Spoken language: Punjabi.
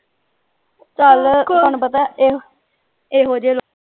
ਚੱਲ ਆਪਾਂ ਨੂੰ ਪਤਾ ਇਹ ਇਹੋਜੇ ਲੋਕ